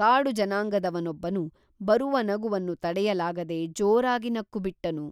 ಕಾಡು ಜನಾಂಗದವನೊಬ್ಬನು ಬರುವ ನಗುವನ್ನು ತಡೆಯಲಾಗದೆ ಜೋರಾಗಿ ನಕ್ಕು ಬಿಟ್ಟನು